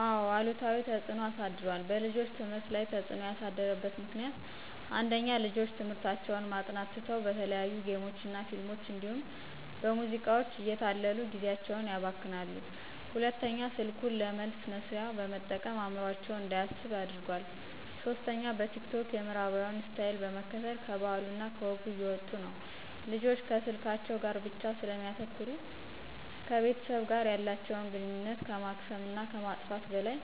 አዎ አሉታዊ ተፅዕኖ አሳድሯል። በልጆች ትምህርት ላይ ተፅዕኖ ያሳደረበት ምክንያት፦ ፩) ልጆች ትምህርታቸውን ማጥናት ትተው በተለያዩ ጌሞች እና ፊልሞች እንዲሁም በሙዚቃዎች እየተታለሉ ጊዜአቸውን ያባክናሉ። ፪) ስልኩን ለመልስ መስሪያ በመጠቀም አዕምሮአቸው እንዳያስብ አድርጓል። ፫) በቲክቶክ የምዕራባውያንን ስታይል በመከተል ከባህሉ እና ከወጉ እየወጡ ነው። ልጆች ከስልካቸው ጋር ብቻ ስለሚያተኩሩ ከቤተሰብ ጋር ያላተቸውን ግንኙነት ከማክሰም እና ከማጥፋት በላይ